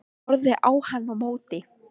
Hann horfði á hann á móti.